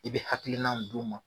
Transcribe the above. I be hakilinaw d'u ma